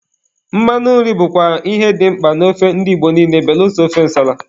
Mmanụ nri bụkwa ihe dị mkpa na ofe ndi Igbo niile belụsọ ofe ǹsàlà.